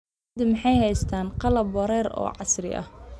Beeraleydu ma haystaan ??qalab waraab oo casri ah.